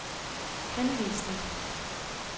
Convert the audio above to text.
henvisning